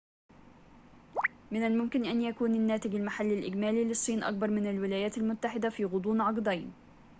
من الممكن أن يكون الناتج المحلي الإجمالي للصين أكبر من الولايات المتحدة في غضون عقدين